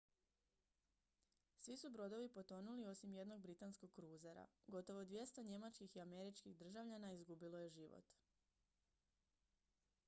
svi su brodovi potonuli osim jednog britanskog kruzera gotovo 200 njemačkih i američkih državljana izgubilo je život